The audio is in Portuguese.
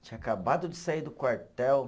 Tinha acabado de sair do quartel.